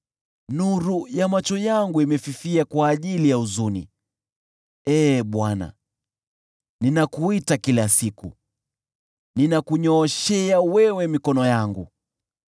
nuru ya macho yangu imefifia kwa ajili ya huzuni. Ee Bwana , ninakuita kila siku, ninakunyooshea wewe mikono yangu.